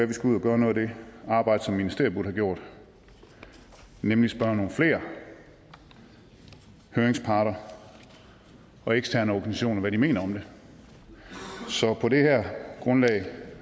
vi skal ud at gøre noget af det arbejde som ministeriet burde have gjort nemlig spørge nogle flere høringsparter og eksterne organisationer om hvad de mener om det så på det her grundlag